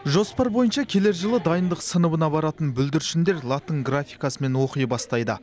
жоспар бойынша келер жылы дайындық сыныбына баратын бүлдіршіндер латын графикасымен оқи бастайды